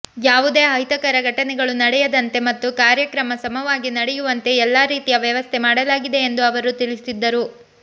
ಯಾವುದೇ ಅಹಿತಕರ ಘಟನೆಗಳು ನಡೆಯದಂತೆ ಮತ್ತು ಕಾರ್ಯಕ್ರಮ ಸುಗಮವಾಗಿ ನಡೆಯುವಂತೆ ಎಲ್ಲಾ ರೀತಿಯ ವ್ಯವಸ್ಥೆ ಮಾಡಲಾಗಿದೆ ಎಂದು ಅವರು ತಿಳಿಸಿದರು